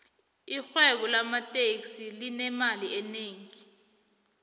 irhwebo lamateksi linemali enengi